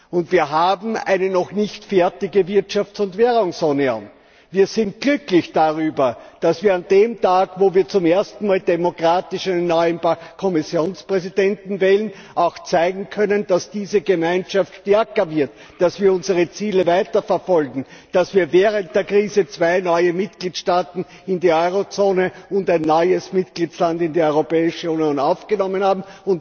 Und wir haben eine noch nicht fertige Wirtschafts und Währungsunion. Wir sind glücklich darüber, dass wir an dem Tag, an dem wir zum ersten Mal demokratisch einen neuen Kommissionspräsidenten wählen, auch zeigen können, dass diese Gemeinschaft stärker wird, dass wir unsere Ziele weiterverfolgen, dass wir während der Krise zwei neue Mitgliedstaaten in die Euro Zone und einen neuen Mitgliedstaat in die Europäische Union aufgenommen haben.